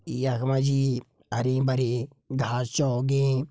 यख मा जी हरी भरी घास छ उगीं।